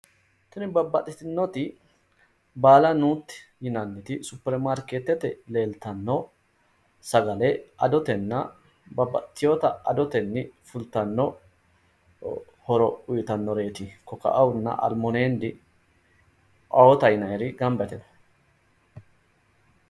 Tini babbaxitinoti baallanuti yinanniti supirimaarkeetete leelitano sagale adotena babbaxiteewota adoteni fullitano horro uyiitanoreti, kokkaona alimunend oota yinayir gamba yite no